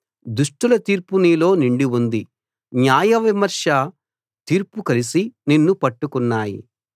దుష్టుల తీర్పు నీలో నిండి ఉంది న్యాయవిమర్శ తీర్పు కలిసి నిన్ను పట్టుకున్నాయి